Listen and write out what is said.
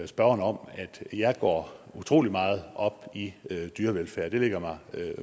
spørgeren om at jeg går utrolig meget op i dyrevelfærd det ligger mig